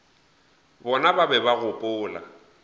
bona ba be ba gopola